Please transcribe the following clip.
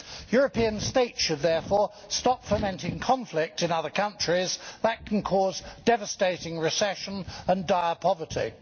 European States should therefore stop fomenting conflict in other countries that can cause devastating recession and dire poverty.